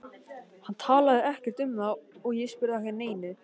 Hann talaði ekkert um það og ég spurði ekki að neinu.